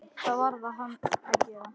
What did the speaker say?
Það varð hann að gera.